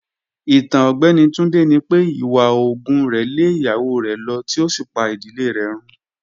Itan Ọgbẹni Tunde ni pe iwa oògùn rẹ le iyawo rẹ lọ ti o si pa idile rẹ run.